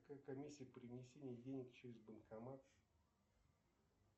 какая комиссия при внесении денег через банкомат